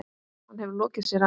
Hann hefur lokið sér af.